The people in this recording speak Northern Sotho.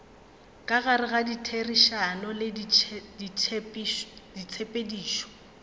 ka gare ditherišano le ditshepedišo